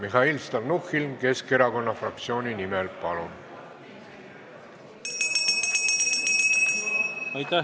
Mihhail Stalnuhhin Keskerakonna fraktsiooni nimel, palun!